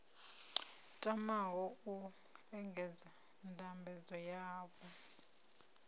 tamaho u engedza ndambedzo dzavho